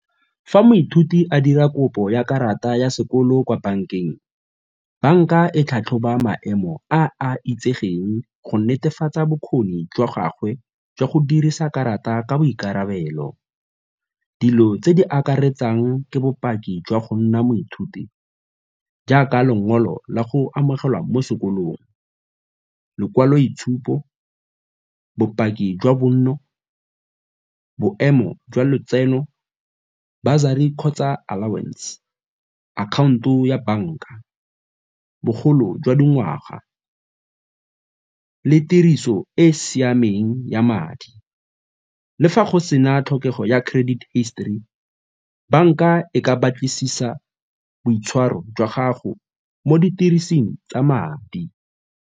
Fa moithuti a dira kopo ya karata ya sekolo kwa bankeng, banka e tlhatlhoba maemo a a itsegeng go netefatsa bokgoni jwa gagwe jwa go dirisa karata ka boikarabelo. Dilo tse di akaretsang ke bopaki jwa go nna moithuti jaaka lengolo la go amogelwa mo sekolong, lekwaloitshupo, bopaki jwa bonno, boemo jwa lotseno, bursary kgotsa allowance, akhaonto ya banka, bogolo jwa dingwaga le tiriso e e siameng ya madi. Le fa go sena tlhokego ya credit histori, banka e ka batlisisa boitshwaro jwa gago mo didirisiweng tsa madi.